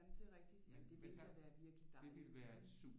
Jamen det er rigtigt jamen det ville da være virkelig dejligt ikke